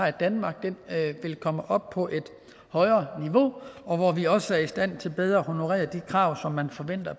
i danmark vil komme op på et højere niveau og hvor vi også er i stand til bedre at honorere de krav man forventer